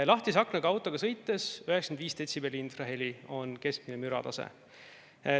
Lahtise aknaga autoga sõites on 95 detsibelli infraheli keskmine müratase.